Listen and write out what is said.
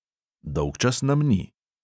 Dolgčas nam ni.